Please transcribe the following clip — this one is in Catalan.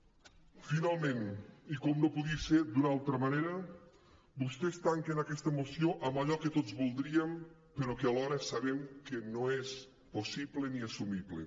finalment i com no podia ser d’una altra manera vostès tanquen aquesta moció amb allò que tots voldríem però que alhora sabem que no és possible ni assumible